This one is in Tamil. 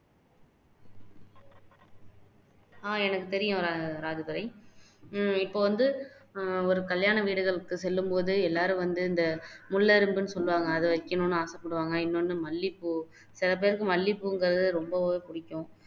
அஹ் எனக்கு தெரியும் ராஜதுரை உம் இப்போ வந்து ஒரு கல்யாண வீடுகளுக்கு செல்லும் போது எல்லாரும் வந்து இந்த முல்லை அரும்புன்னு சொல்லுவாங்க அது வைக்கணும்னு ஆசைப்படுவாங்க இன்னொண்ணு மல்லிப்பூ சில பேருக்கு மல்லிப்பூங்குறது ரொம்பவே புடிக்கும்